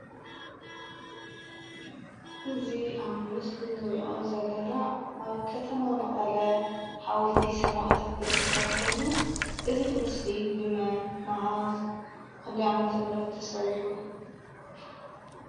እዚ አብ ምስሊ እንሪኦ ዘለና አብ ከተማ መቀለ ሓወልቲ ሰማእታት ዝርከብ ኮይኑ እዚ ምስሊ ብመን፣ መዓዝ ፣ብክንደይ ዓመተ ምህረት ተሰሪሑ?